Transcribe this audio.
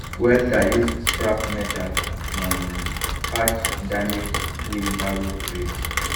welder use scrap metal um patch damaged wheelbarrow trays